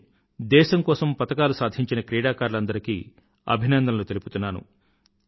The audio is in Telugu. నేను దేశం కోసం పతకాలు సాధించిన క్రీడాకారులందరికీ అభినందనలు తెలుపుతున్నాను